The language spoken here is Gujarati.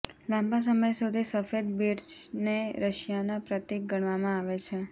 લાંબા સમય સુધી સફેદ બિર્ચને રશિયાના પ્રતીક ગણવામાં આવે છે